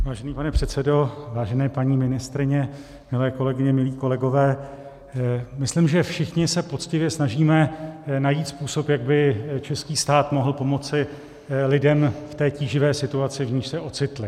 Vážený pane předsedo, vážené paní ministryně, milé kolegyně, milí kolegové, myslím, že všichni se poctivě snažíme najít způsob, jak by český stát mohl pomoci lidem v té tíživé situaci, v níž se ocitli.